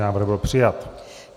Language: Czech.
Návrh byl přijat.